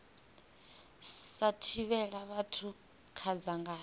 sa thivhela vhathu kha dzangano